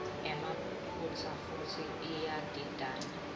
emaphutsa futsi iyadidana